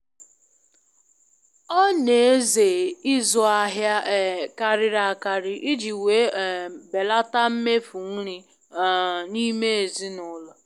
Ọ n'eze ịzụ ahịa um karịrị akarị iji wee um belata mmefu nri um n'ime ezinụlọ